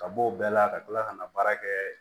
Ka bɔ o bɛɛ la ka kila ka na baara kɛ